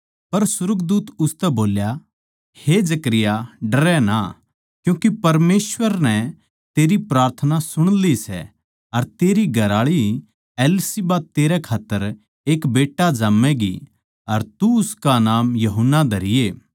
पर सुर्गदूत उसतै बोल्या हे जकरयाह डरै ना क्यूँके परमेसवर नै तेरी प्रार्थना सुणली सै अर तेरी घरआळी एलीशिबा तेरै खात्तर एक बेट्टा जाम्मैगी अर तू उसका नाम यूहन्ना धरिये